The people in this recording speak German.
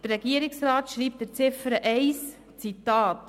Der Regierungsrat schreibt zu Ziffer 1, ich zitiere: